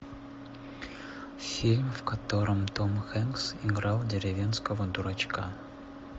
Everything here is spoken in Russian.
фильм в котором том хэнкс играл деревенского дурачка